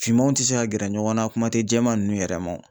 Finmanw tɛ se ka gɛrɛ ɲɔgɔn na kuma tɛ jɛman nunnu yɛrɛ ma o.